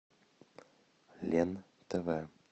лен тв